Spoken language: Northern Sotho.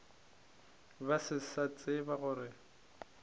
ba se sa tseba gore